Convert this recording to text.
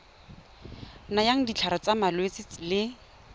nayang ditlhare tsa malwetse le